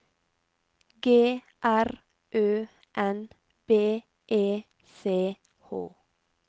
G R Ø N B E C H